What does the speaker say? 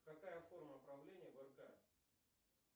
какая форма правления в рк